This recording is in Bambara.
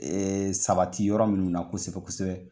Ee sabati yɔrɔ minnu na kosɛbɛ kosɛbɛ.